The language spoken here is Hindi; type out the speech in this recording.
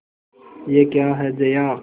यह क्या है जया